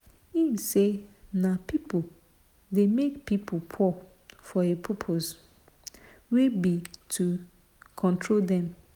im say na pipo dey make pipo poor for a purpose wey be to control dem.